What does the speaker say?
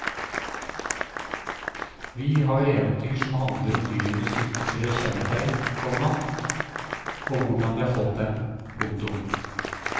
Vi har eventyr som handler om dyrenes ytre kjennetegn, komma og hvordan de har fått dem. punktum